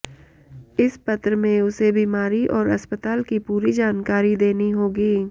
इस पत्र में उसे बीमारी और अस्पताल की पूरी जानकारी देनी होगी